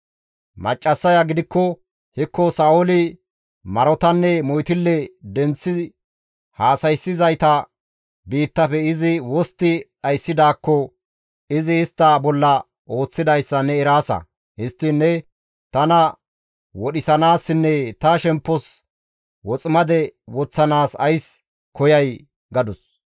Maccassaya gidikko, «Hekko Sa7ooli marotanne moytille denththi haasayssizayta biittafe izi wostti dhayssidaakko izi istta bolla ooththidayssa ne eraasa; histtiin ne tana wodhisanaassinne ta shemppos woximade woththanaas ays koyay?» gadus.